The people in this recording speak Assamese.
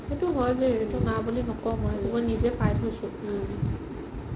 সেইটো হয় দে না বুলি নকও মই সেইটো মই নিজে পাইছো